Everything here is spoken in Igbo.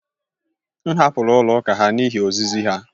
M hapụrụ ụlọ ụka ha n’ihi ozizi ha